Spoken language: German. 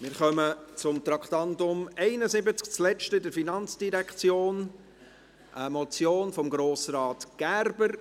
Wir kommen zum Traktandum 71, das letzte in der FIN, eine Motion von Grossrat Gerber.